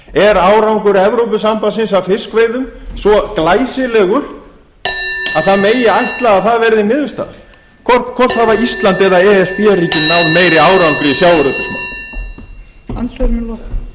er árangur evrópusambandsins að fiskveiðum svo glæsilegur að það megi ætla að það verði niðurstaðan hvort hafa ísland eða e s b ríkin náð meiri árangri í sjávarútvegsmálum